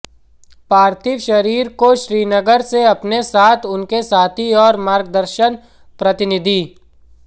पार्थिव शरीर को श्रीनगर से अपने साथ उनके साथी और मार्गदर्शक प्रतिनिधि